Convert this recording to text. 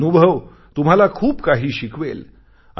हा अनुभव तुम्हाला खूप काही शिकवेल